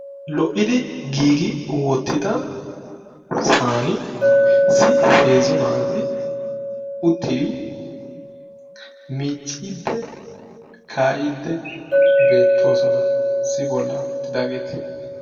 lo'idi giigi wotida saani uttidi heezzu naat miicidi kaa'iidi beetoosona, issi boli utiidaageti;